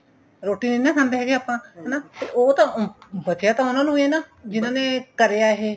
ਰੋਟੀ ਨਹੀਂ ਖਾਦੇ ਹੈਗੇ ਆਪਾਂ ਹਨਾ ਤੇ ਉਹ ਤਾਂ ਬਚਿਆ ਤਾਂ ਉਹਨਾ ਨੂੰ ਇਹ ਨਾ ਜਿਹਨਾ ਨੇ ਕਰਿਆ ਇਹ